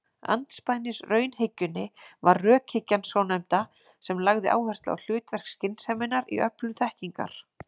Andspænis raunhyggjunni var rökhyggjan svonefnda sem lagði áherslu á hlutverk skynseminnar í öflun þekkingar.